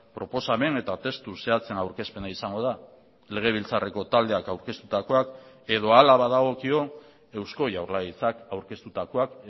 proposamen eta testu zehatzen aurkezpena izango da legebiltzarreko taldeak aurkeztutakoak edo hala badagokio eusko jaurlaritzak aurkeztutakoak